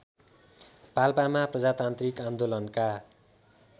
पाल्पामा प्रजातान्त्रिक आन्दोलनका